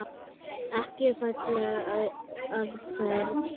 Ekki falleg aðferð.